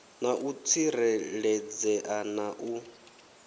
na u tsireledzea na u